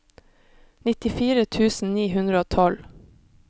nittifire tusen ni hundre og tolv